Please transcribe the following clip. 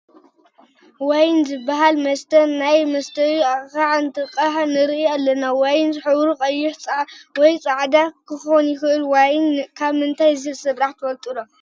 ዋይን ዝበሃል መስተ ናብ መስተዪ ኣቕሓ እንትቅዳሕ ንርኢ ኣለና፡፡ ዋይን ሕብሩ ቀይሕ ወይ ፃዕደ ክኾን ይኽእል፡፡ ዋይን ካብ ምንታይ ከምዝስራሕ ትፈልጡ ዶ?